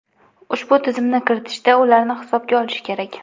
Ushbu tizimni kiritishda ularni hisobga olish kerak.